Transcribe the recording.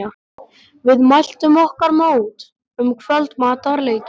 Við mæltum okkur mót um kvöldmatarleytið.